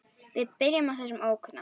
Við byrjum á þessum ókunna.